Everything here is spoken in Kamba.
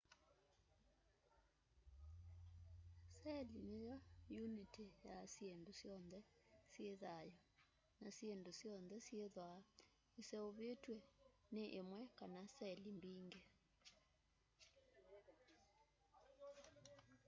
seli niyo uniti ya syindu syonthe syi thau na syindu syonthe syithwaa iseuvitw'e ni imwe kana seli mbingi